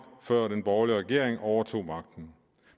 før den borgerlige regering overtog magten